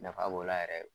Nafa b'o la yɛrɛ